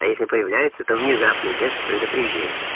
а если появляется то внезапно без предупреждения